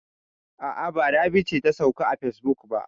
A'a, ba Rabi ce ta sauka a facebook ba.